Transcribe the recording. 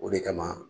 O de kama